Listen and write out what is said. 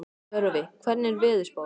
Tjörvi, hvernig er veðurspáin?